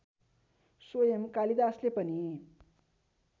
स्वयं कालिदासले पनि